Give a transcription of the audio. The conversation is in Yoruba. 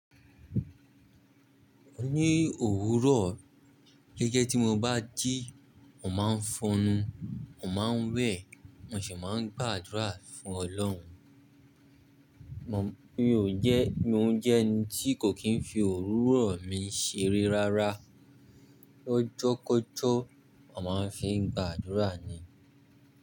Ni òwúrọ̀, gẹ́gẹ́ tí mo bá jí, mò máa ń fọ enu, mò máa ń wẹ̀, mo sì máa ń gbàdúrà fún Ọlọ́run. Mi ò jẹ́, mò ń jẹ́ ẹni tí kò kì í ń fi òwúrọ̀ mi ṣeré rárá. Ọjọ́kọ́jọ́, a máa ń fi gbàdúrà ni.